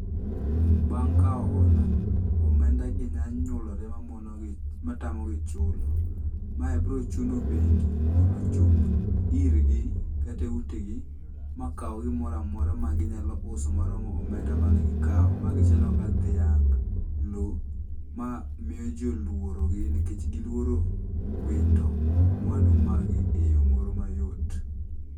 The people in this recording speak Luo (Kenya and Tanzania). Bang' kaw hola, omenda gi nya nyuolore mamonogi matamogi chulo. Mae bro chuno bengi mondo ochop irgi kata e utegi, makaw gimoro amora ma ginyalo uso ma romo omenda mane gikaw magi chalo kaka dhiang', lo. Ma miyo jii olworogi nikech gilworo wito mwandu mag gi eyo moro mayot